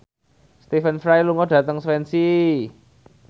Stephen Fry lunga dhateng Swansea